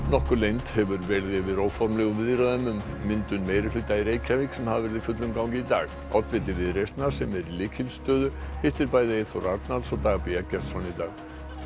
nokkur leynd hefur verið yfir óformlegum viðræðum um myndun meirihluta í Reykjavík sem hafa verið í fullum gangi í dag oddviti Viðreisnar sem er í lykilstöðu hittir bæði Eyþór Arnalds og Dag b Eggertsson í dag